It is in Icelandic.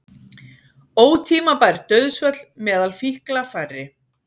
Ótímabær dauðsföll meðal fíkla færri